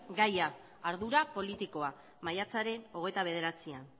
gaia ardura politikoa maiatzaren hogeita bederatzian